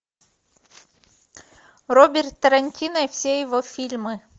роберт тарантино и все его фильмы